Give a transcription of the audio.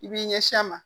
I b'i ɲɛsin a ma